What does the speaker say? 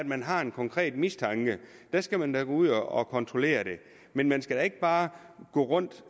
man har en konkret mistanke skal man da gå ud og kontrollere det men man skal da ikke bare gå rundt